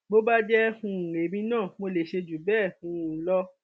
bó bá jẹ um èmi náà mo lè ṣe jù bẹẹ um lọ